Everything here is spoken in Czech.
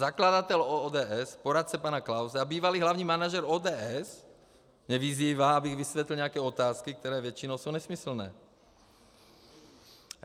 Zakladatel ODS, poradce pana Klause a bývalý hlavní manažer ODS mě vyzývá, abych vysvětlil nějaké otázky, které většinou jsou nesmyslné.